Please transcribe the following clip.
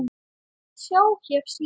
Sjá hér síðar.